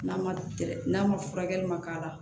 N'a ma n'a ma furakɛli man k'a la